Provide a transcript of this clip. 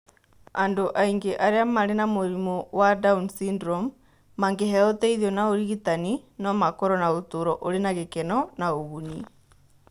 Andũ aingĩ arĩa marĩ na mũrimũ wa down syndrome mangĩheo ũteithio na ũrigitani, no makorũo na ũtũũro ũrĩ na gĩkeno na ũguni.